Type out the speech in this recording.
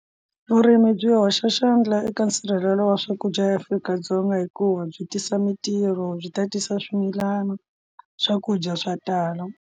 Vurimi byi hoxa xandla eka nsirhelelo wa swakudya eAfrika-Dzonga hikuva byi tisa mintirho byi tatisa swimilana swakudya swa tala.